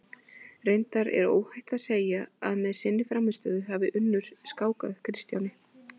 Reyndar er óhætt að segja að með sinni frammistöðu hafi Unnur skákað Kristjáni.